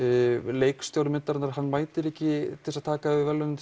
leikstjóri myndarinnar mætir ekki til þess að taka við verðlaunum